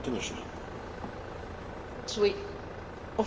Of course we are trying to do our utmost.